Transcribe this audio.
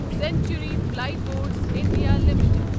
century Plyboards India limited